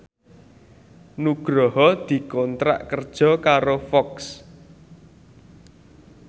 Nugroho dikontrak kerja karo Fox